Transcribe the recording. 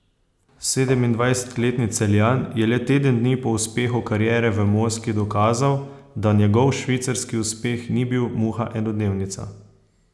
Sedemindvajsetletni Celjan je le teden dni po uspehu kariere v Moskvi dokazal, da njegov švicarski uspeh ni bil muha enodnevnica.